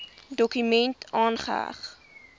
dokument aangeheg